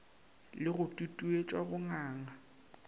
le go tutuetša go nganga